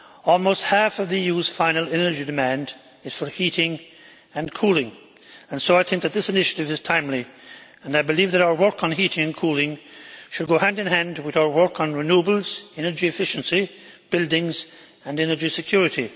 Almost half of the EU's final energy demand is for heating and cooling, and so I think that this initiative is timely and I believe that our work on heating and cooling should go hand in hand with our work on renewables, energy efficiency, buildings and energy security.